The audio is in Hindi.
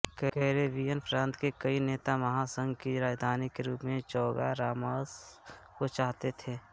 कैरेबियन प्रांत के कई नेता महासंघ की राजधानी के रूप में चौगारामास को चाहते थे